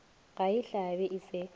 ga e hlabe e se